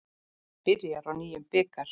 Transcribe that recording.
Byrjar á nýjum bikar.